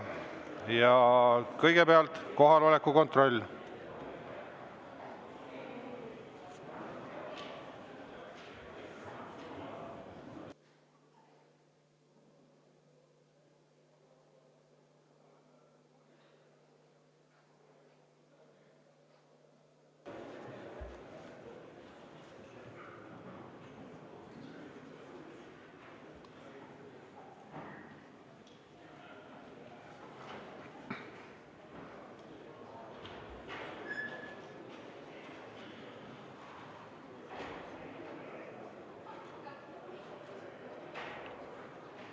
Ja kõigepealt kohaloleku kontroll!